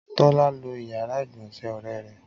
Tọ́lá lo ìyàrá-ìgbọ̀nsẹ̀ ọ̀rẹ́ rẹ!